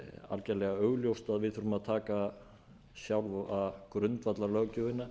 algjörlega augljóst að við þurfum að taka sjálfa grundvallarlöggjöfina